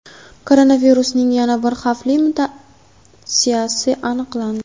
Koronavirusning yana bir xavfli mutatsiyasi aniqlandi.